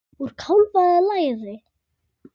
Úr kálfa eða læri!